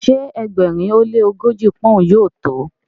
ṣe ẹgbẹrin o le ogoji poun yóò to?